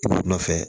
Wula nɔfɛ